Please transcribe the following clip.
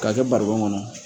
K'a kɛ barikon kɔnɔ